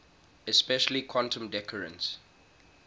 especially quantum decoherence